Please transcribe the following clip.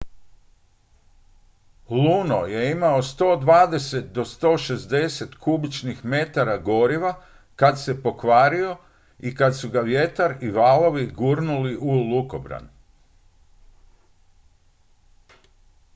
luno je imao 120-160 kubičnih metara goriva kad se pokvario i kad su ga vjetar i valovi gurnuli u lukobran